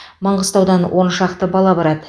маңғыстаудан он шақты бала барады